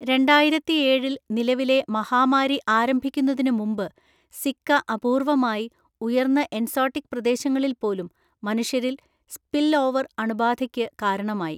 രണ്ടായിരത്തിയേഴില്‍ നിലവിലെ മഹാമാരി ആരംഭിക്കുന്നതിന് മുമ്പ്, സിക്ക അപൂർവ്വമായി, ഉയർന്ന എൻസോട്ടിക് പ്രദേശങ്ങളിൽ പോലും, മനുഷ്യരിൽ 'സ്പിൽഓവർ' അണുബാധയ്ക്ക് കാരണമായി.